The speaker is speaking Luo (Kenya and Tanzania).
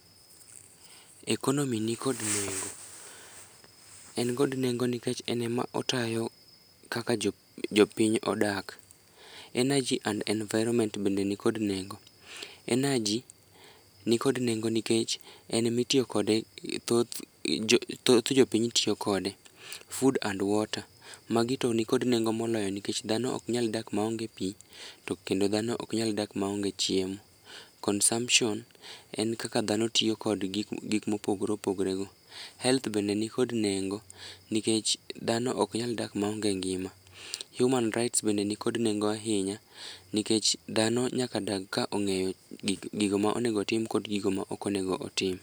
Economy nikod nengo, en kod nengo nikech en ema otayo kaka jopiny odak. Energy and environment bende nikod nengo, energy nikod nengo nikech en emitiyo kode thoth jopiny tiyo kode. Food and water, magi to nikod nengo moloyo nikech dhano oknyal dak maonge pi to kendo dhano oknyal dak maonge chiemo. Consumption en kaka dhano tiyo kod gik mopogre opogre go. Health bende nikod nengo nikech dhano oknyal dak maonge ngima. Human rights bende nikod nengo ahinya nikech dhano nyaka dag ka ong'eyo gigo ma onego otim kod gigo maok onego otim.